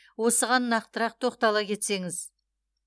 осыған нақтырақ тоқтала кетсеңіз